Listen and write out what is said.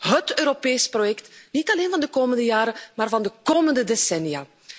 Dit is hét Europees project, niet alleen van de komende jaren maar van de komende decennia.